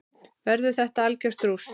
Verður þetta algjört rúst???